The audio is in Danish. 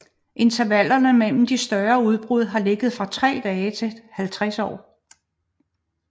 Intervallerne mellem de større udbrud har ligget fra tre dage til 50 år